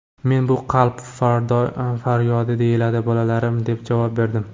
Men: ‘Bu qalb faryodi deyiladi, bolalarim’, deb javob berdim.